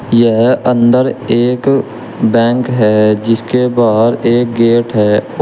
यह अंदर एक बैंक है जिसके बाहर एक गेट है।